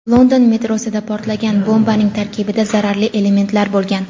London metrosida portlagan bombaning tarkibida zararli elementlar bo‘lgan.